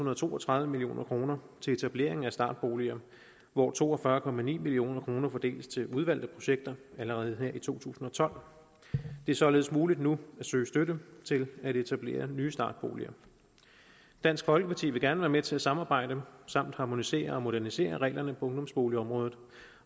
og to og tredive million kroner til etablering af startboliger hvoraf to og fyrre million kroner fordeles til udvalgte projekter allerede her i to tusind og tolv det er således muligt nu at søge støtte til at etablere nye startboliger dansk folkeparti vil gerne være med til at samarbejde samt harmonisere og modernisere reglerne på ungdomsboligområdet